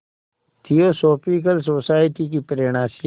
theosophical society की प्रेरणा से